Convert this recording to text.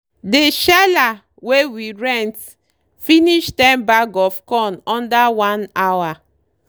dey sheller wey we rent finish ten bag of corn under one hour.